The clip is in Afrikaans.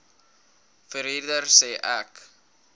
verhuurder sê ek